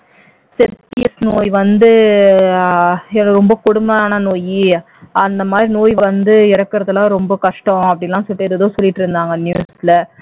செப்டியஸ் நோய் வந்து ஆஹ் ரொம்ப கொடுமையான நோய் அந்த மாதிரி நோய் வந்து இறக்கறதெல்லாம் ரொம்ப கஷ்டம் அப்படிலாம் சொல்லிட்டிருந்தாங்க news ல